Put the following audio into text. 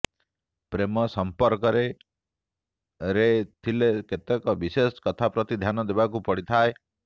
ପ୍ରେମ ସଂପର୍କରେ ରେ ଥିଲେ କେତେକ ବିଶେଷ କଥାପ୍ରତି ଧ୍ୟାନ ଦେବାକୁ ପଡ଼ିଥାଏ